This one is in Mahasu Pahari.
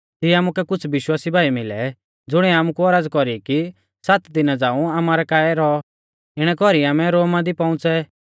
तिऐ आमुकै कुछ़ विश्वासी भाई मिलै ज़ुणिऐ आमुकु औरज़ कौरी कि सात दिना झ़ांऊ आमारै काऐ रौऔ इणै कौरी आमै रोमा दी पौउंच़ै